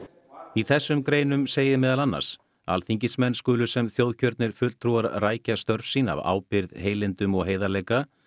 í þessum greinum segir meðal annars alþingismenn skulu sem þjóðkjörnir fulltrúar rækja störf sín af ábyrgð heilindum og heiðarleika